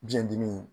Biyɛn dimi